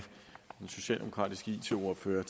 den socialdemokratiske it ordfører